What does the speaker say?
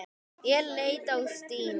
Ég leit á Stínu.